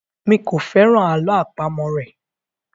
mí kọ féràn àlọ́ àpamọ̀ rẹ.